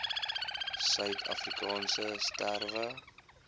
suid afrikaanse strewe